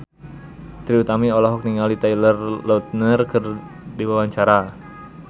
Trie Utami olohok ningali Taylor Lautner keur diwawancara